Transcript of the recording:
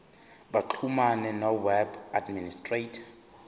baxhumane noweb administrator